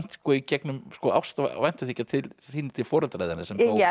í gegn ást og væntumþykja til til foreldra þinna sem